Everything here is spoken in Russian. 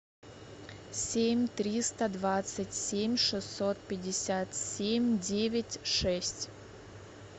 семь триста двадцать семь шестьсот пятьдесят семь девять шесть